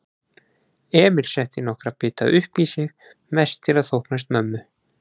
Emil setti nokkra bita uppí sig, mest til að þóknast mömmu.